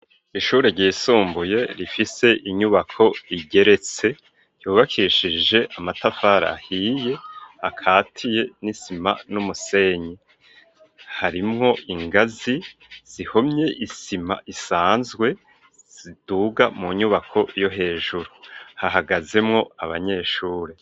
Ishure ryisumbuye rifise inyubako igeretse, ryubakishije amatafara ahiye, akatiye n'isima n'umusenyi. Harimwo ingazi zihomye isima isanzwe, ziduga mu nyubako yo hejuru. Hahagazemwo abanyeshure.